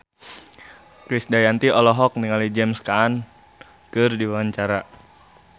Krisdayanti olohok ningali James Caan keur diwawancara